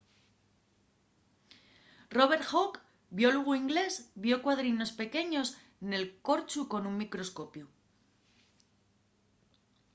robert hooke biólogu ingleś vio cuadrinos pequeños nel corchu con un microscopiu